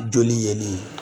Joli ye nin ye